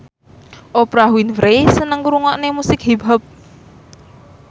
Oprah Winfrey seneng ngrungokne musik hip hop